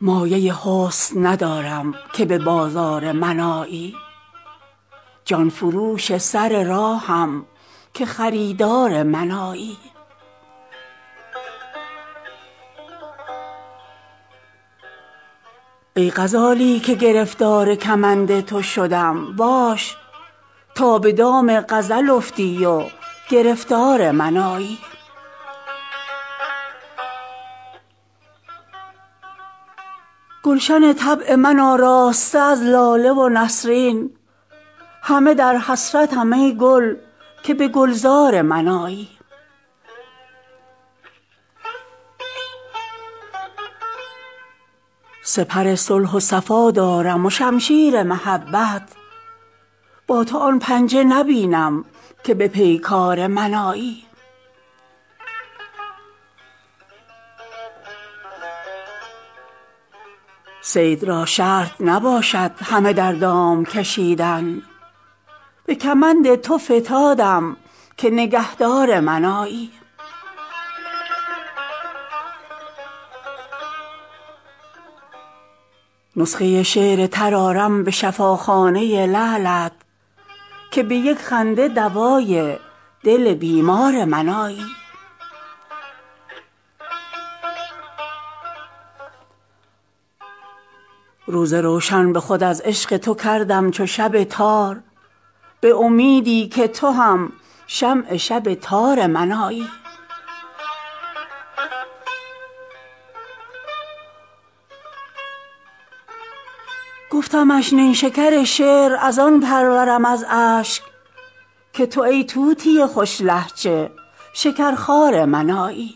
مایه حسن ندارم که به بازار من آیی جان فروش سر راهم که خریدار من آیی ای غزالی که گرفتار کمند تو شدم باش تا به دام غزل افتی و گرفتار من آیی گلشن طبع من آراسته از لاله و نسرین همه در حسرتم ای گل که به گلزار من آیی سپر صلح و صفا دارم و شمشیر محبت با تو آن پنجه نبینم که به پیکار من آیی صید را شرط نباشد همه در دام کشیدن به کمند تو فتادم که نگهدار من آیی نسخه شعر تر آرم به شفاخانه لعلت که به یک خنده دوای دل بیمار من آیی روز روشن به خود از عشق تو کردم چو شب تار به امیدی که تو هم شمع شب تار من آیی گفتمش نیشکر شعر از آن پرورم از اشک که تو ای طوطی خوش لهجه شکر خوار من آیی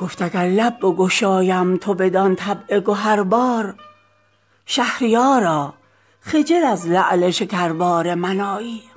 گفت اگر لب بگشایم تو بدان طبع گهربار شهریارا خجل از لعل شکربار من آیی